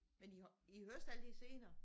Men I I høster altid senere